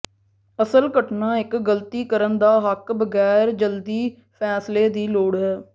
ਅਸਲ ਘਟਨਾ ਇੱਕ ਗਲਤੀ ਕਰਨ ਦਾ ਹੱਕ ਬਗੈਰ ਜਲਦੀ ਫ਼ੈਸਲੇ ਦੀ ਲੋੜ ਹੈ